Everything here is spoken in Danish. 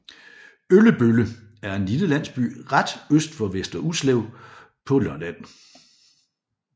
Øllebølle er en lille landsby ret øst for Vester Ulslev på Lolland